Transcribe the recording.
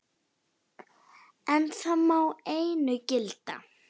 En það má einu gilda.